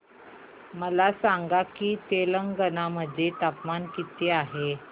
मला सांगा की तेलंगाणा मध्ये तापमान किती आहे